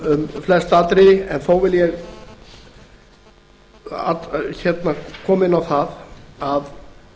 um flest atriði en þó vil ég koma inn á það að